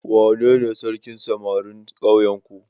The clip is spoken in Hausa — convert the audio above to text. Wanene sarkin samarin ƙauyenku?